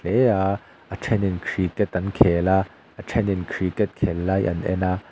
hle a a then in cricket an khel a a then in cricket khel lai an en a.